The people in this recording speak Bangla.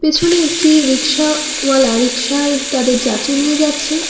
পেছনে একটি রিকশাওয়ালা রিক্সায় তাদের যাত্রী নিয়ে যাচ্ছে।